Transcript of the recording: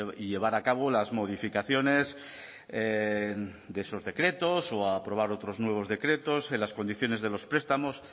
y llevar a cabo las modificaciones de esos decretos o aprobar otros nuevos decretos en las condiciones de los prestamos